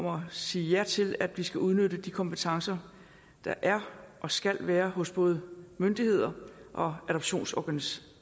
at sige ja til at vi skal udnytte de kompetencer der er og skal være hos både myndigheder og adoptionsorganisationer